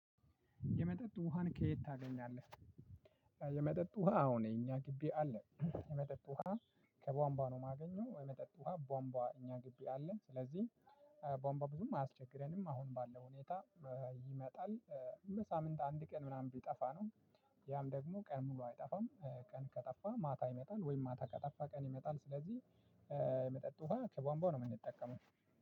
የመጠጥ ውሃን ከየት ታገኛለህ? የመጠጥ ውሃ አሁን እኛ ግቢ አለ። የመጠጥ ውሃ ከቧንቧ ነው የማገኘው። የመጠጥ ውሃ ቧንቧ እኛ ግቢ አለን። ስለዚህ ቧንቧ ብዙም አያስቸግረንም። አሁን ባለው ሁኔታ ይመጣል። በሳምንት አንድ ቀን ምናምን ቢጠፋ ነው። ያም ደግሞ ቀን ሙሉ አይጠፋም ቀን ከጠፋም ማታ ይመጣል ወይም ማታ ከጠፋ ቀን ይመጣል ስለዚህ የመጠጥ ውሃ ከቧንቧ ነው የምንጠቀመው።